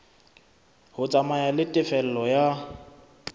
ho tsamaya le tefello ya